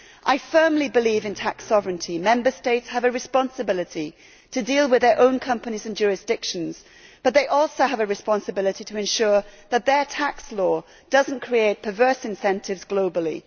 I firmly believe in tax sovereignty. Member States have a responsibility to deal with their own companies and jurisdictions but they also have a responsibility to ensure that their tax law does not create perverse incentives globally.